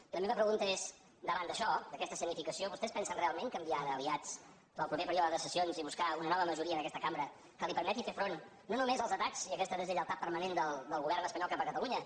i la meva pregunta és davant d’això d’aquesta escenificació vostès pensen realment canviar d’aliats per al proper període de sessions i buscar una nova majoria en aquesta cambra que li permeti fer front no només als atacs i a aquesta deslleialtat permanent del govern espanyol cap a catalunya